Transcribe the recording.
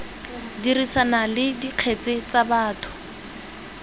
dirisana le dikgetse tsa batho